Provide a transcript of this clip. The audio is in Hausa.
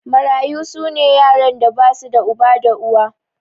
Mararyu su ne yaran da ba su da uba da uwa.